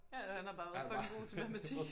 Ja han har bare været fucking god til matematik